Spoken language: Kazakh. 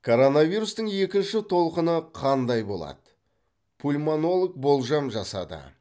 коронавирустың екінші толқыны қандай болады пульмонолог болжам жасады